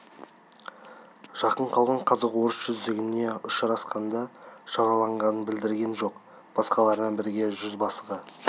жақын қалған қазақ-орыс жүздігіне ұшырасқанша жараланғанын білдірген жоқ басқалармен бірге жүзбасыға